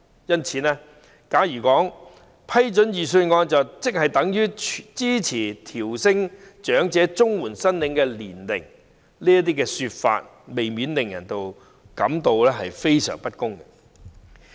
因此，假如說批准預算案便等於支持提高長者綜援的合資格年齡，難免令人感到非常不公平。